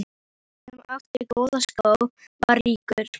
Sá sem átti góða skó var ríkur.